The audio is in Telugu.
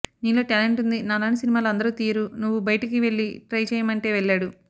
నీలో టాలెంట్ ఉంది నాలాంటి సినిమాలు అందరూ తీయరు నువ్వు బయటకి వెళ్లి ట్రై చేయమంటే వెళ్లాడు